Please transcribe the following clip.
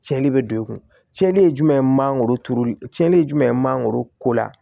Cɛnli bɛ don i kun cɛli ye jumɛn ye mangoro turuli cɛnli ye jumɛn ye mangoro ko la